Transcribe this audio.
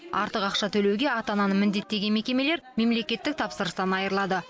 артық ақша төлеуге ата ананы міндеттеген мекемелер мемлекеттік тапсырыстан айырылады